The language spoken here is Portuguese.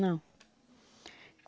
Não.